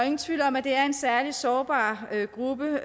ingen tvivl om at det er en særlig sårbar gruppe